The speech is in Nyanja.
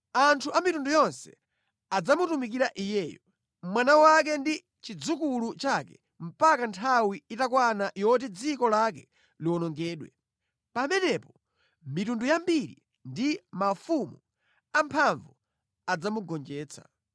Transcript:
Anthu a mitundu yonse adzamutumikira iyeyo, mwana wake ndi chidzukulu chake mpaka nthawi itakwana yoti dziko lake liwonongedwe. Pamenepo mitundu yambiri ndi mafumu amphamvu adzamugonjetsa.